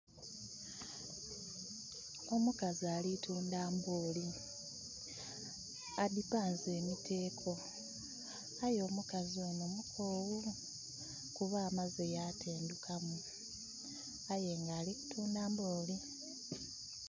Omukazi ali tundha mbooli, adhipanze emiteko aye omukazi ono mukoghu kuba amaze yatendhukamu aye nga ali kutundha mbooli.